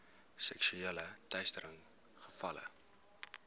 seksuele teistering gevalle